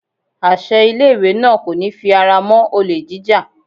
Àṣẹ ilé ìwé náà kò ní fi ara mọ́ olè jíjà.